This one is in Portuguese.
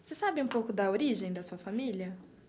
Você sabe um pouco da origem da sua família?